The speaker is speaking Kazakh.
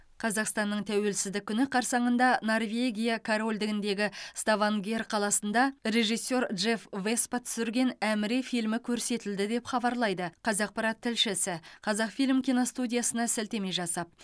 қазақстанның тәуелсіздік күні қарсаңында норвегия корольдігіндегі ставангер қаласында режиссер джефф веспа түсірген әміре фильмі көрсетілді деп хабарлайды қазақпарат тілшісі қазақфильм киностудиясына сілтеме жасап